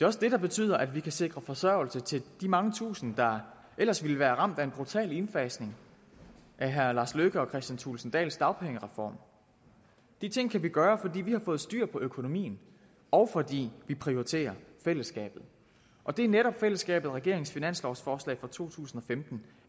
også det der betyder at vi kan sikre forsørgelse til de mange tusinde der ellers ville være ramt af en brutal indfasning af herre lars løkke rasmussen thulesen dahls dagpengereform de ting kan vi gøre fordi vi har fået styr på økonomien og fordi vi prioriterer fællesskabet og det er netop fællesskabet som regeringens finanslovsforslag for to tusind og femten